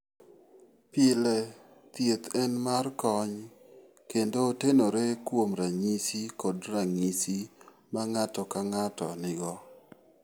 Pile, thieth en mar kony kendo otenore kuom ranyisi kod ranyisi ma ng'ato ka ng'ato nigo.